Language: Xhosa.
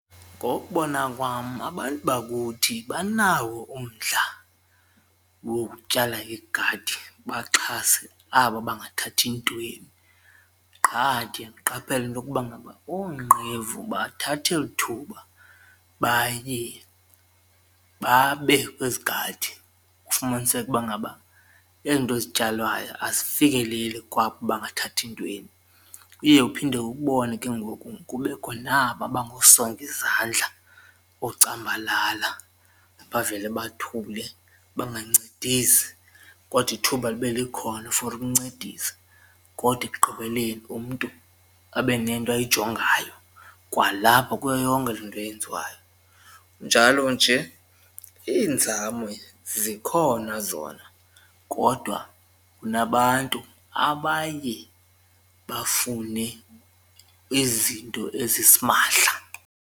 Ngokubona kwam abantu bakuthi banawo umdla wokutyala igadi baxhase aba bangathathi ntweni. Qha ke ndiye ndiqaphela into yokuba ngaba oonqevu bathatha eli thuba baye babe kwezigadi ufumaniseke ukuba ngaba ezi nto zityalwayo azifikeleli kwabo bangathathi ntweni. Uye uphinde ubone ke ngoku kubekho naba bangosongizandla, oocambalala bavele bathule bangancedisi kodwa ithuba libe likhona for ukuncedisa kodwa ekugqibeleni umntu abe nento ayijongayo kwalapha kuyo yonke le nto yenziwayo. Kunjalo nje iinzame zikhona zona kodwa kunabantu abaye bafune izinto ezisimahla.